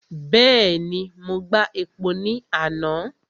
Bẹ́ẹ̀ni, mo gba epo ní àná.